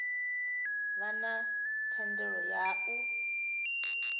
vha na thendelo ya u